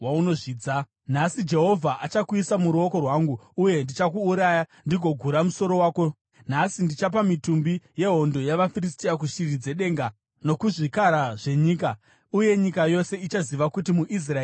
Nhasi Jehovha achakuisa muruoko rwangu, uye ndichakuuraya ndigokugura musoro wako. Nhasi ndichapa mitumbi yehondo yavaFiristia kushiri dzedenga nokuzvikara zvenyika, uye nyika yose ichaziva kuti muIsraeri muna Mwari.